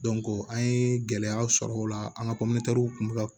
an ye gɛlɛyaw sɔrɔ o la an ka kun mi ka